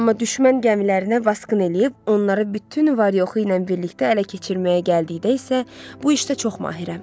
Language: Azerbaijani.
Amma düşmən gəmilərinə vaskın eləyib onları bütün var yoxu ilə birlikdə ələ keçirməyə gəldikdə isə, bu işdə çox mahirəm.